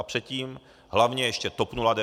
A předtím hlavně ještě TOP 09 a ODS.